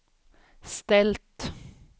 ställt